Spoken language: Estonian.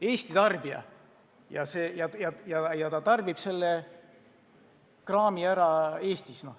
Eesti inimene tarbib selle kraami ära Eestis.